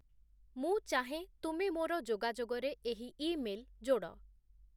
ମୁଁ ଚାହେଁ ତୁମେ ମୋର ଯୋଗାଯୋଗରେ ଏହି ଇମେଲ୍ ଯୋଡ଼